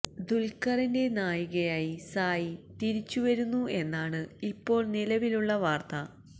ദുല്ഖറിന്റെ നായികയായി സായി തിരിച്ചുവരുന്നു എന്നാണ് ഇപ്പോള് നിലവിലുള്ള വാര്ത്ത